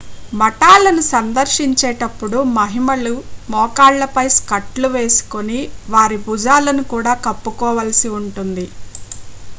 మఠాలను సందర్శించేటప్పుడు మహిళలు మోకాళ్లపై స్కర్ట్ లు వేసుకొని వారి భుజాలను కూడా కప్పుకోవాల్సి ఉంటుంది